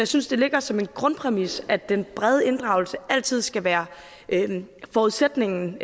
synes det ligger som en grundpræmis at den brede inddragelse altid skal være forudsætningen